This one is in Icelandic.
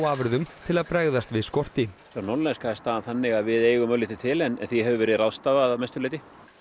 afurðum til að bregðast við skorti hjá Norðlenska er staðan þannig að við eigum örlítið til en því hefur verið ráðstafað að mestu leyti